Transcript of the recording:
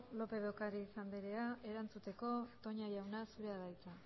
lópez de ocariz anderea erantzuteko toña jauna zurea da hitza